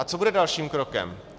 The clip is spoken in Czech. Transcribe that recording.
A co bude dalším krokem?